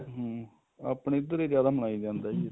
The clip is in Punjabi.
ਹਮ ਆਪਣੇ ਇੱਧਰ ਈ ਜਿਆਦਾ ਮਨਾਇਆ ਜਾਂਦਾ ਜੀ